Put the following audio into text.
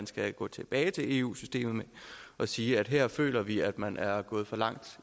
skal gå tilbage til eu systemet og sige at her føler vi at man er gået for langt